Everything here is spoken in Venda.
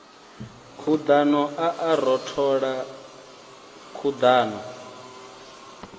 khuḓano a a rothola khuḓano